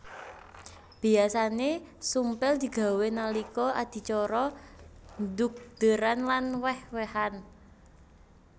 Biyasané sumpil digawé nalika adicara dhugdéran lan wéh wéhan